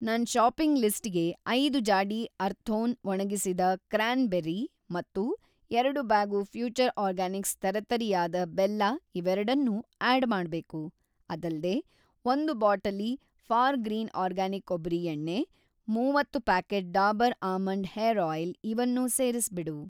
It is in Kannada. ನನ್‌ ಷಾಪಿಂಗ್‌ ಲಿಸ್ಟಿಗೆ ಐದು ಜಾಡಿ ಅರ್ಥೋನ್ ಒಣಗಿಸಿದ ಕ್ರ್ಯಾನ್‍ಬೆರಿ ಮತ್ತು ಎರಡು ಬ್ಯಾಗು ಫ್ಯೂಚರ್‌ ಆರ್ಗ್ಯಾನಿಕ್ಸ್ ತರಿತರಿಯಾದ ಬೆಲ್ಲ ಇವೆರಡನ್ನೂ ಆಡ್‌ ಮಾಡ್ಬೇಕು. ಅದಲ್ದೇ, ಒಂದು ಬಾಟಲಿ ಫಾರ್‌ಗ್ರೀನ್ ಅರ್ಗ್ಯಾನಿಕ್ ಕೊಬ್ಬರಿ ಎಣ್ಣೆ, ಮೂವತ್ತು packet Dabur almond hair oil ಇವನ್ನೂ ಸೇರಿಸ್ಬಿಡು.